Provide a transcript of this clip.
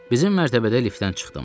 Bizim mərtəbədə liftdən çıxdım.